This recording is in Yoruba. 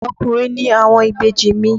Ọkùnrin ni àwọn ìbejì mi.